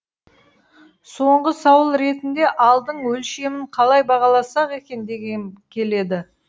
соңғы сауыл ретінде ардың өлшемін қалай бағаласақ екен дегім келеді